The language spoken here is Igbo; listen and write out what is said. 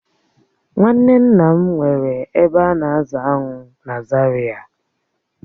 Nwanne nna m nwere ebe a na-azụ aṅụ na Zaria